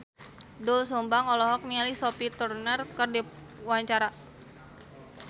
Doel Sumbang olohok ningali Sophie Turner keur diwawancara